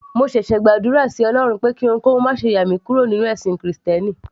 mo ṣẹ̀ṣẹ̀ gbàdúrà sí ọlọrun pé kí ohunkóhun máṣe yà mí kúrò nínú ẹ̀sìn krìstẹ́nì